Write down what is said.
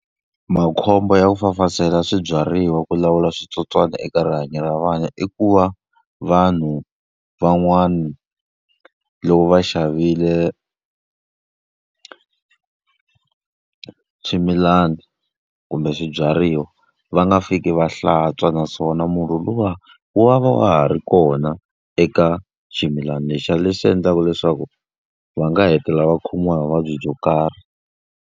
Makhombo ya ku fafazela swibyariwa ku lawula switsotswana eka rihanyo ra vana i ku va, vanhu van'wana loko va xavile swimilana kumbe swibyariwa va nga fiki va hlantswa. Naswona murhi luwa wu va wa ha ri kona eka ximilana lexiya, leswi endlaka leswaku va nga hetelela va khomiwa hi vuvabyi byo karhi.